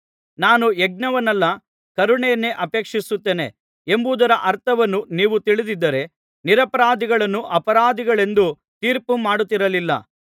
ನಾನು ಯಜ್ಞವನ್ನಲ್ಲ ಕರುಣೆಯನ್ನೇ ಅಪೇಕ್ಷಿಸುತ್ತೇನೆ ಎಂಬುದರ ಅರ್ಥವನ್ನು ನೀವು ತಿಳಿದಿದ್ದರೆ ನಿರಪರಾಧಿಗಳನ್ನು ಅಪರಾಧಿಗಳೆಂದು ತೀರ್ಪುಮಾಡುತ್ತಿರಲಿಲ್ಲಾ